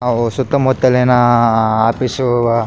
ಅವು ಸುತ್ತ ಮುತ್ತಲಿನ ಆಫೀಸ್ --